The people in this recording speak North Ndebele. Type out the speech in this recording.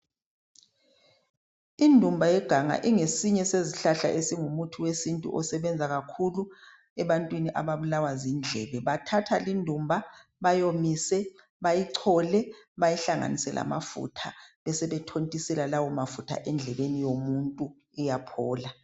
Indumba yeganga ingesinye ezihlahla ezingumuthi wesintu osebenza kakhulu ebantwini ababulawa zindlebe bathatha indumba bayomise bayichole bayihlanganise lamafutha besebe thontisela lawo mafutha endlebeni yomuntu iyaphola.